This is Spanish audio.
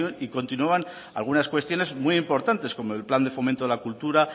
y continuaban algunas cuestiones muy importantes como el plan de fomento de la cultura